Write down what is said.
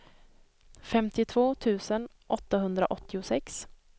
femtiotvå tusen åttahundraåttiosex